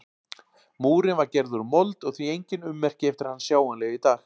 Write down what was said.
Múrinn var gerður úr mold og því enginn ummerki eftir hann sjáanleg í dag.